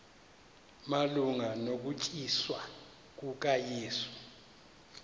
malunga nokuthanjiswa kukayesu